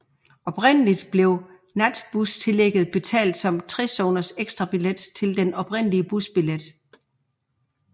Oprindeligt blev natbustillægget betalt som en 3 zoners ekstrabillet til den oprindelige busbillet